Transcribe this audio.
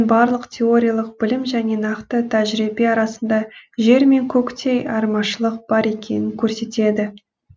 барлық теориялық білім және нақты тәжірибе арасында жер мен көктей айырмашылық бар екенін көрсетеді